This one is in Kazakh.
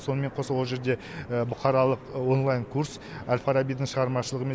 сонымен қоса ол жерде бұқаралық онлайн курс әл фарабидің шығармашылығымен